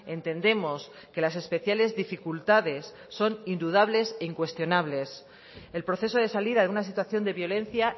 entendemos que las especiales dificultades son indudables e incuestionables el proceso de salida de una situación de violencia